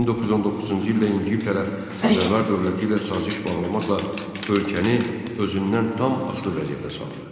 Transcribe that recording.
1919-cu ildə İngiltərə Qacarlar dövləti ilə saziş bağlamaqla ölkəni özündən tam asılı vəziyyətə saldı.